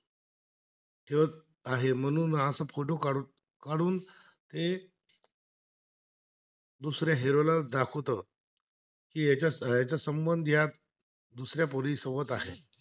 दुसऱ्या हिरोला दाखवतो, त्याचा याचा संबंधच्या या दुसऱ्या पुरीसोबत आहे